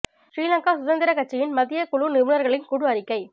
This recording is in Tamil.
ஸ்ரீ லங்கா சுதந்திரக் கட்சியின் மத்திய குழு நிபுணர்களின் குழு அறிக்கை